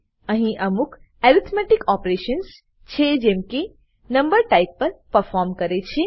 અહી અમુક arithmetic operations છે જે નંબર ટાઈપ પર પરફોર્મ કરે છે